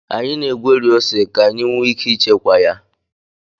Anyị na-egweri ose ka anyị nwee ike ịchekwa ya